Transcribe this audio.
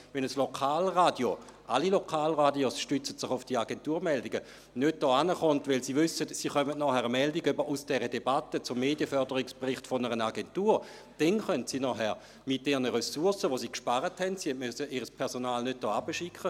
Wenn ein Lokalradio nicht hierherkommt – alle Lokalradios stützten sich auf diese Agenturmeldungen –, weil es weiss, dass es später eine Meldung einer Agentur zur Debatte über den Medienförderungsbericht erhält, kann es dann mit den Ressourcen, die es eingespart hat, einen Bericht aufbereiten.